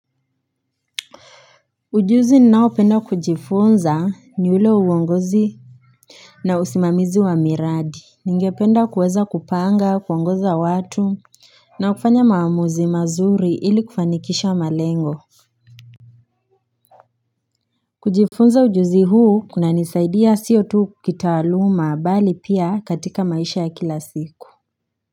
Ujuzi ninao penda kujifunza ni ule wa uongozi na usimamizi wa miradi Ningependa kuweza kupanga kuongoza watu na kufanya maamuzi mazuri ili kufanikisha malengo kujifunza ujuzi huu kuna nisaidia siyo tu kukitaluma bali pia katika maisha ya kila siku.